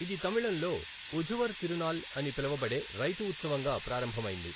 ఇది తమిళంలో ఉఝవర్ తిరునాల్ అని పిలువబడే రైతు ఉత్సవంగా ప్రారంభమైంది.